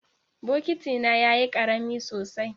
Bokitina yayi karami sosai.